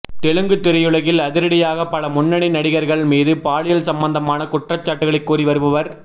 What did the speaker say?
தெலுங்கு திரையுலகில் அதிரடியாக பல முன்னணி நடிகர்கள் மீது பாலியல் சம்பந்தமான குற்றச்சாட்டுக்களை கூறி வருபவர்